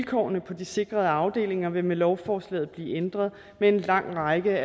vilkårene på de sikrede afdelinger vil med lovforslaget blive ændret med en lang række